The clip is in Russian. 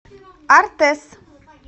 артэс